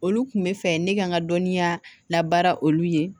Olu kun bɛ fɛ ne ka n ka dɔnniya labaara olu ye